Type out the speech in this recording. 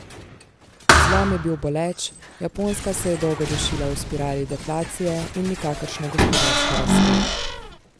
Zlom je bil boleč, Japonska se je dolgo dušila v spirali deflacije in nikakršne gospodarske rasti.